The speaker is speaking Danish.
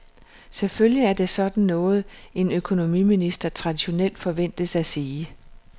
Selvfølgelig er det sådan noget, en økonomiminister traditionelt forventes at sige.